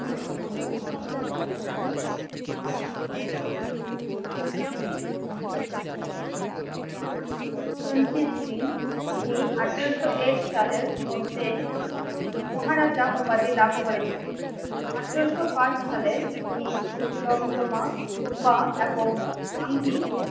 রঞ্জিত সিং তিনি আঠেরো শো এক সালের মধ্যে মহারাজা উপাধি লাভ করেছিলেন। আঠেরো শো পাঁচ সালে তিনি জমজমা, পোটা, এবং ভাঙি